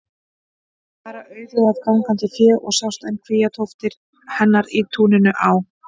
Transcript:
Bera var auðug af gangandi fé og sjást enn kvíatóftir hennar í túninu á